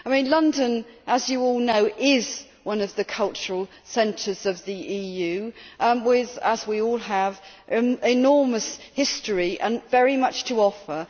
London, as you all know, is one of the cultural centres of the EU with as we all have enormous history and very much to offer.